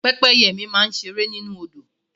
Pẹ́pẹ́yẹ mi máa ń ṣe eré nínú Odò